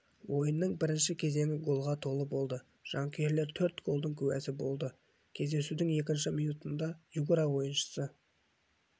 ойынның бірінші кезеңі голға толы болды жанкүйерлер төрт голдың куәсі болды кездесудің екінші минутында югра ойыншысы